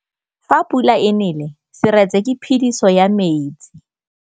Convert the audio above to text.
Fa pula e nelê serêtsê ke phêdisô ya metsi.